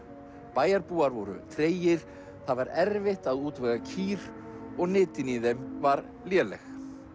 bæjarbúar voru tregir það var erfitt að útvega kýr og nytin í þeim var léleg